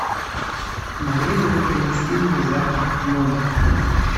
могли бы вы принести мне завтрак в номер